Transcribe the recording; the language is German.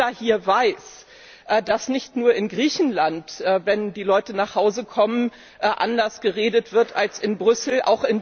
Aber jeder hier weiß, dass nicht nur in Griechenland, wenn die Leute nach Hause kommen, anders geredet wird als in Brüssel.